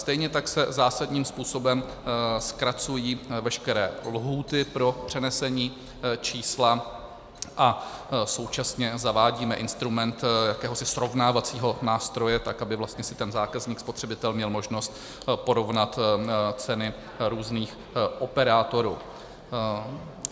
Stejně tak se zásadním způsobem zkracují veškeré lhůty pro přenesení čísla a současně zavádíme instrument jakéhosi srovnávacího nástroje, tak aby vlastně si ten zákazník, spotřebitel měl možnost porovnat ceny různých operátorů.